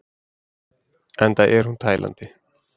Enda er hún tælandi!